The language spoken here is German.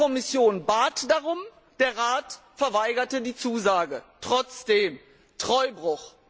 Die Kommission bat darum, der Rat verweigerte die Zusage trotzdem Treuebruch!